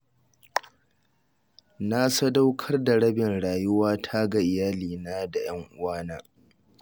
Na sadaukar da rabin rayuwata ga iyalina da 'yan uwana